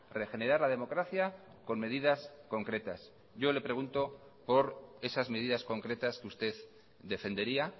regenerar la democracia con medidas concretas yo le pregunto por esas medidas concretas que usted defendería